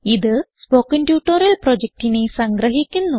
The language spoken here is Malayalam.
ഇത് സ്പോകെൻ ട്യൂട്ടോറിയൽ പ്രൊജക്റ്റിനെ സംഗ്രഹിക്കുന്നു